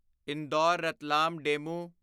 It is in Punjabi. ਇੰਦੌਰ ਰਤਲਾਮ ਡੇਮੂ